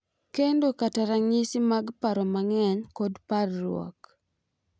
Kendo kata ranyisi mag paro mang’eny kod parruok.